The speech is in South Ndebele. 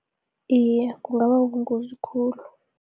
Iye, kungababongozi khulu.